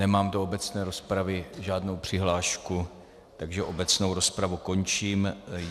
Nemám do obecné rozpravy žádnou přihlášku, takže obecnou rozpravu končím.